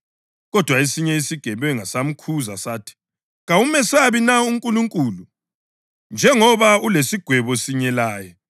Kodwa esinye isigebenga samkhuza sathi, “Kawumesabi na uNkulunkulu, njengoba ulesigwebo sinye laye.